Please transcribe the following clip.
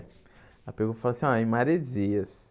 Ela pegou e falou assim, ó, em Maresias.